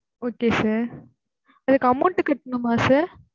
okay sir அதுக்கு amount கெட்டனுமா? sir